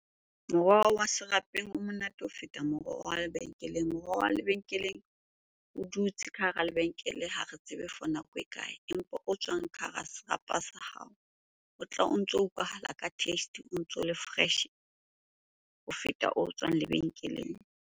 Moroho wa serapeng o monate ho feta moroho wa lebenkeleng. Moroho wa lebenkeleng o dutse ka hara lebenkele, ha re tsebe for nako e kae? Empa o tswang ka hara serapa sa hao, o tla o ntso utlwahala ka taste, o ntso le fresh-e ho feta o tswang lebenkeleng.